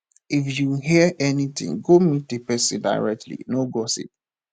if you hear anytin go meet di pesin directly no gossip